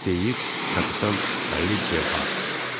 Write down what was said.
Deyir kapitan Lidharth.